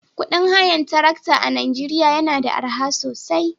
Kudin hayar tarakta a Najeriya yana da arha sosai